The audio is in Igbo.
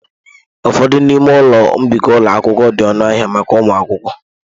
Ụfọdụ n'ime ụlọ mbikọ ụlọ akwụkwọ di ọnụ ahịa maka ụmụ akwụkwọ.